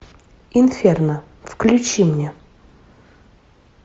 инферно включи мне